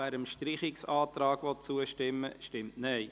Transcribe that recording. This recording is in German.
wer dem Streichungsantrag zustimmen will, stimmt Nein.